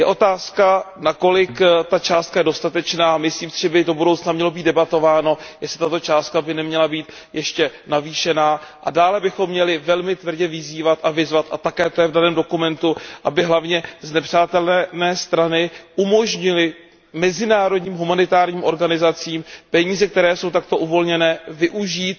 Je otázkou, na kolik ta částka je dostatečná, myslím si, že by do budoucna mělo být debatováno, jestli by tato částka neměla být ještě navýšena, a dále bychom měli velmi tvrdě vyzývat a vyzvat a také to je v daném dokumentu aby hlavně znepřátelené strany umožnily mezinárodním humanitárním organizacím peníze, které jsou takto uvolněné, využít